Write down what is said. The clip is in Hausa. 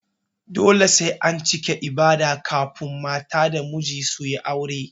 Dole sai an cike ibada kafun mata da miji suyi aure